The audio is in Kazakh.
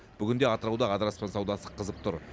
бүгінде атырауда адыраспан саудасы қызып тұр